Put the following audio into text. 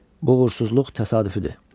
Bu uğursuzluq təsadüfüdür.